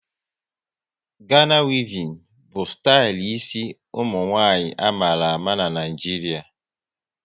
Gana wevin bụ stali ịsi ụmụnwanyị a mara ama n'Naijiria